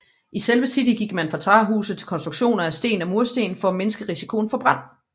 I selve City gik man fra træhuse til konstruktioner af sten og mursten for at mindske risikoen for brand